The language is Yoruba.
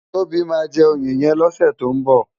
Tobi má jè óyé yèn lòsè tó n bò